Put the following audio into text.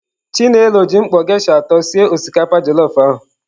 Chinelo ji mkpọ geisha atọ sie osikapa jellof ahụ.